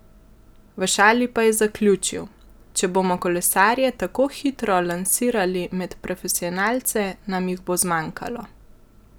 V šali pa je zaključil: "Če bomo kolesarje tako hitro lansirali med profesionalce, nam jih bo zmanjkalo.